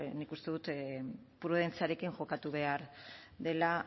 nik uste dut prudentziarekin jokatu behar dela